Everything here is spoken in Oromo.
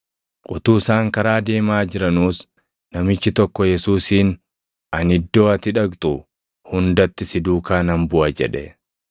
Utuu isaan karaa deemaa jiranuus namichi tokko Yesuusiin, “Ani iddoo ati dhaqxu hundatti si duukaa nan buʼa” jedhe.